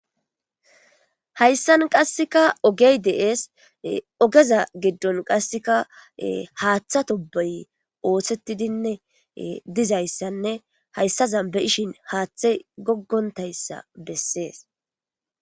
Hayssan qasseka ogey de'ees ogeza giddon qasseka haaththa tobey oosettidinne dizayssanne hayssazan be'ishin haaththey goggontayssa bessees.